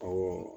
Awɔ